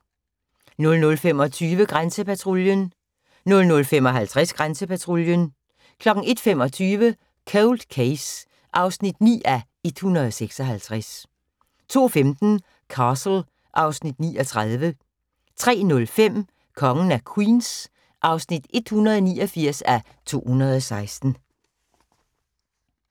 00:25: Grænsepatruljen 00:55: Grænsepatruljen 01:25: Cold Case (9:156) 02:15: Castle (Afs. 39) 03:05: Kongen af Queens (189:216)